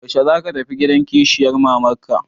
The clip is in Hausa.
Yaushe za ka tafi gidan kishiyar mama ka?